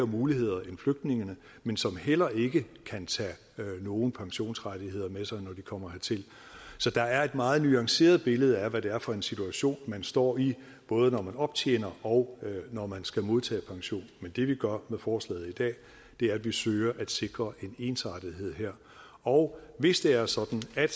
muligheder end flygtninge men som heller ikke kan tage nogen pensionsrettigheder med sig når de kommer hertil så der er et meget nuanceret billede af hvad det er for en situation man står i både når man optjener og når man skal modtage pension men det vi gør med forslaget i dag er at vi søger at sikre en ensartethed her og hvis det er sådan at